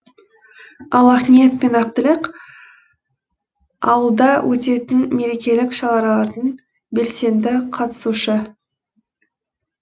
ал ақниет пен ақтілек ауылда өтетін мерекелік шаралардың белсенді қатысушы